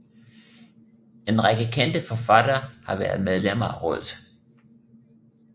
En række kendte forfattere har været medlemmer af rådet